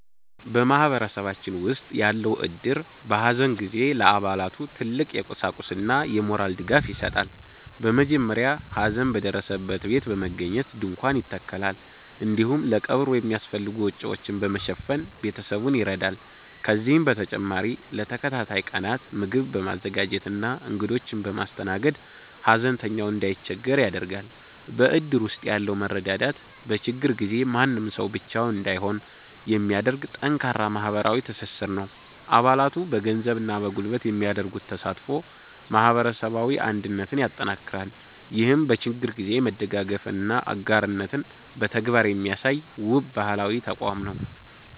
በማህበረሰባችን ውስጥ ያለው እድር፣ በሐዘን ጊዜ ለአባላቱ ትልቅ የቁሳቁስና የሞራል ድጋፍ ይሰጣል። በመጀመሪያ ሐዘን በደረሰበት ቤት በመገኘት ድንኳን ይተከላል፤ እንዲሁም ለቀብሩ የሚያስፈልጉ ወጪዎችን በመሸፈን ቤተሰቡን ይረዳል። ከዚህም በተጨማሪ ለተከታታይ ቀናት ምግብ በማዘጋጀትና እንግዶችን በማስተናገድ፣ ሐዘንተኛው እንዳይቸገር ያደርጋል። በእድር ውስጥ ያለው መረዳዳት፣ በችግር ጊዜ ማንም ሰው ብቻውን እንዳይሆን የሚያደርግ ጠንካራ ማህበራዊ ትስስር ነው። አባላቱ በገንዘብና በጉልበት የሚያደርጉት ተሳትፎ ማህበረሰባዊ አንድነትን ያጠናክራል። ይህም በችግር ጊዜ መደጋገፍንና አጋርነትን በተግባር የሚያሳይ፣ ውብ ባህላዊ ተቋም ነው።